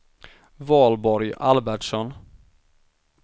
Valborg Albertsson